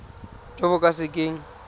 jo bo ka se keng